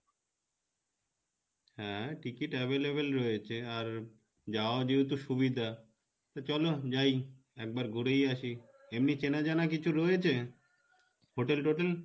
হ্যাঁ ticket available রয়েছে আর যাওয়া যেহেতু সুবিধা তো চলো যাই একবার ঘুরেই আসি, এমনি চেনা জানা কিছু রয়েছে, hotel টোটেল?